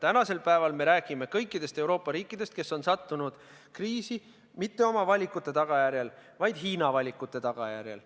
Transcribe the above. Tänasel päeval me räägime kõikidest Euroopa riikidest, kes on sattunud kriisi mitte oma valikute tagajärjel, vaid Hiina valikute tagajärjel.